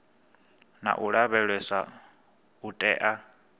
na u lavheleswa u tea